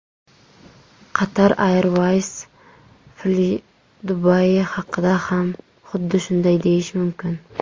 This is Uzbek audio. Qatar Airways, Flydubai haqida ham xuddi shunday deyish mumkin.